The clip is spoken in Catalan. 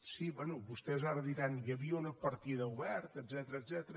sí bé vostès ara diran hi havia una partida oberta etcètera